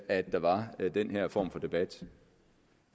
at der var den her form for debat